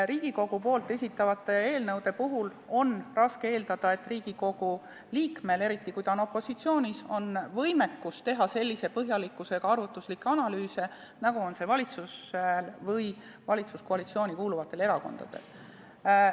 Riigikogu esitatavate eelnõude puhul on raske eeldada, et Riigikogu liikmel, eriti kui ta on opositsioonis, on võimekus teha sellise põhjalikkusega arvutuslikke analüüse, nagu on valitsusel või valitsuskoalitsiooni kuuluvatel erakondadel.